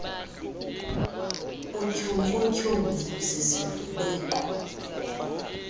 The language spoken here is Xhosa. utyhumfu tyhumfu zizivubeko